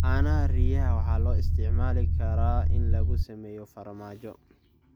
Caanaha riyaha waxaa loo isticmaali karaa in lagu sameeyo farmaajo.